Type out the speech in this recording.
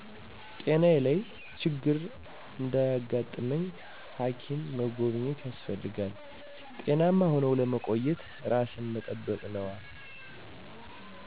ጤናየ ላይ ችግር እዳያጋጥመኝ ሐኪም መጎብኘት ያስፈልጋል። ጤናማ ሁነው ለመቆየት እራስን መጠበቅ ነዋ።